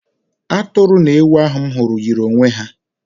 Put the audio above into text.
Atụrụ na ewu ahụ m hụrụ yiri onwe ha.